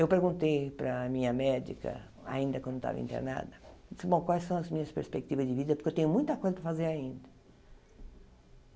Eu perguntei para a minha médica, ainda quando estava internada, eu disse bom quais são as minhas perspectivas de vida, porque eu tenho muita coisa para fazer ainda.